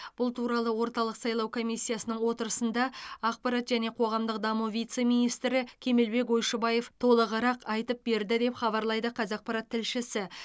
бұл туралы орталық сайлау комиссиясының отырысында ақпарат және қоғамдық даму вице министрі кемелбек ойшыбаев толығырақ айтып берді деп хабарлайды қазақпарат тілшісі